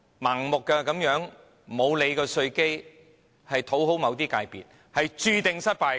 盲目地忽視稅基問題以討好某些界別，只會注定失敗。